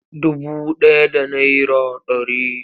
Dubu ɗaya da naira ɗari.